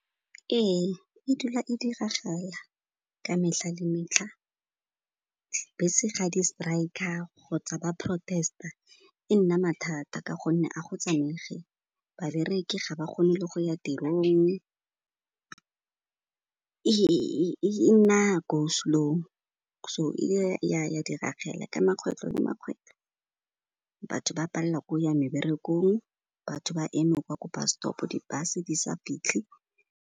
Ee, e dula e diragala ka metlha le metlha. Bese ga di striker kgotsa ba protest-a, e nna mathata ka gonne a go tsamaege, babereki ga ba kgone le go ya tirong, e nna go slow, so e ya diragala ka makgetlho le makgetlho, batho ba pallwa k'o ya meberekong, batho ba eme kwa ko bus stop, di bus di sa fitlhe.